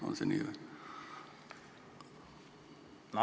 On see nii?